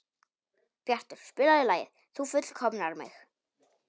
Bjartur, spilaðu lagið „Þú fullkomnar mig“.